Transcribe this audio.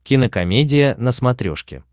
кинокомедия на смотрешке